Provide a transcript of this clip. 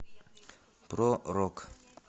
про рок